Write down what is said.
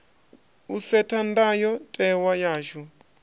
u setha ndayo tewa yashu